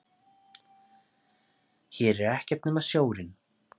Hér er ekkert nema sjórinn.